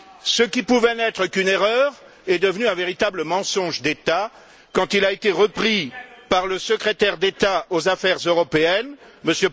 Ce qui pouvait n'être qu'une erreur est devenu un véritable mensonge d'État quand il a été repris par le secrétaire d'État aux affaires européennes, M.